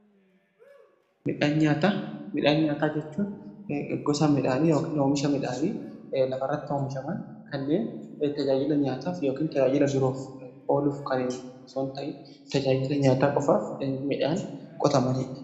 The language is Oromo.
Midhaan nyaataa jechuun gosa midhaanii yookaan oomisha midhaanii lafa irratti oomishaman kanneen tajaajila nyaataaf yookiin tajaajila biroof ooluuf kanneen osoo hin ta'iin tajaajila nyaataa qofaaf midhaan qotamanidha.